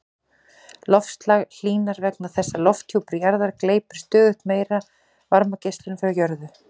Loftslag hlýnar vegna þess að lofthjúpur jarðar gleypir stöðugt meiri varmageislun frá jörðu.